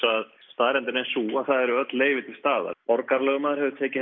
að staðreyndin er sú að það eru öll leyfi til staðar borgarlögmaður hefur tekið